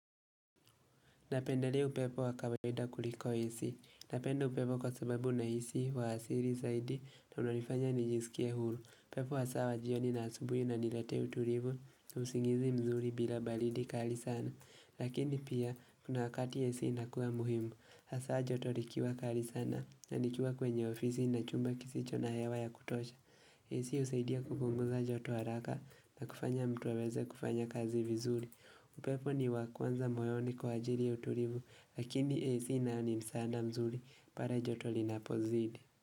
Napendelea upepo wakawaida kuliko AC Napenda upepo kwa sababu na hisi wa asili zaidi na unanifanya nijisikie huru. Upepo hasa wajioni na asubuhi una niletea utulivu na usingizi mzuri bila baridi kali sana. Lakini pia, kuna wakati AC inakua muhimu. Hasa joto likiwa kali sana na nikiwa kwenye ofisi na chumba kisi chona hewa ya kutosha. AC husaidia kupunguza joto haraka na kufanya mtuaweze kufanya kazi vizuri. Upepo ni wakwanza moyoni kwa ajili ya utulivu lakini AC nayoni msaada mzuri pale joto linapo zidi.